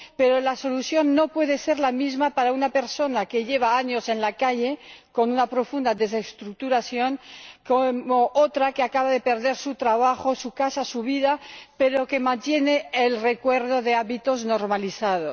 Pero la solución no puede ser la misma para una persona que lleva años en la calle, con una profunda desestructuración, que para otra que acaba de perder su trabajo, su casa, su vida, pero que mantiene el recuerdo de hábitos normalizados.